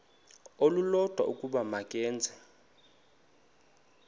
olulodwa ukuba makeze